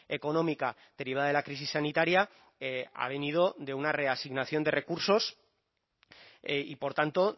económica derivada de la crisis sanitaria ha venido de una reasignación de recursos y por tanto